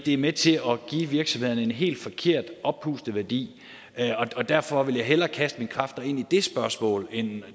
er med til at give virksomhederne en helt forkert og oppustet værdi derfor vil jeg hellere kaste mine kræfter ind i det spørgsmål end i